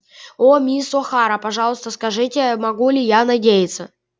о мисс охара пожалуйста скажите могу ли я надеяться